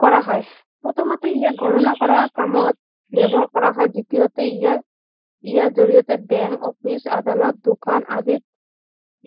কৰা হয় প্ৰথমতে ইয়াক গণনা কৰা কামত ব্যৱহাৰ কৰা হয় দ্বিতীয়তে ইয়াৰ ইয়াৰ জৰিয়তে বেংক অফিচ আদালত দোকান আদি